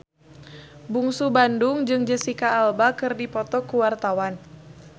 Bungsu Bandung jeung Jesicca Alba keur dipoto ku wartawan